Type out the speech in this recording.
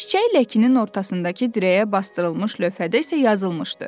Çiçək ləkinin ortasındakı dirəyə basdırılmış lövhədə isə yazılmışdı.